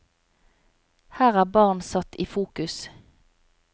Her er barn satt i fokus.